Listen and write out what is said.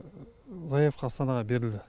заявка астанаға берілді